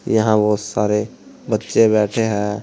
यहां बहोत सारे बच्चे बैठे है।